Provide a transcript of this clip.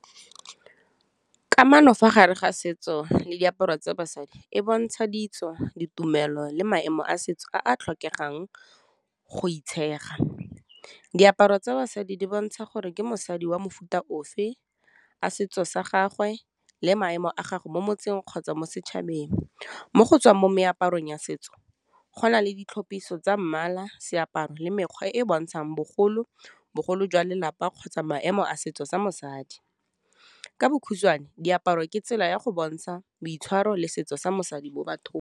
Kamano fa gare ga setso le diaparo tsa basadi e bontsha ditso, ditumelo le maemo a setso a a tlhokegang go itshega. Diaparo tsa basadi di bontsha gore ke mosadi wa mofuta ofe, a setso sa gagwe le maemo a gago mo motseng kgotsa mo setšhabeng, mo go tswang mo meaparong ya setso go na le ditlhopiso tsa mmala seaparo, le mekgwe e bontshang bogolo, bogolo jwa lelapa kgotsa maemo a setso sa mosadi, ka bokhutswane, diaparo ke tsela ya go bontsha boitshwaro le setso sa mosadi mo bathong.